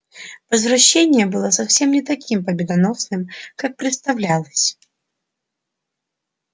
возвращение было совсем не таким победоносным как представлялось